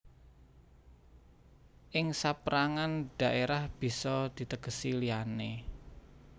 Ing saperangan dhaerah bisa ditegesi liyane